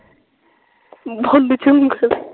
ਚ ਉਂਗਲ